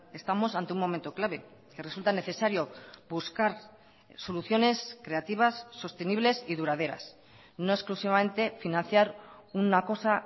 estamos ante un momento clave que resulta necesario buscar soluciones creativas sostenibles y duraderas no exclusivamente financiar una cosa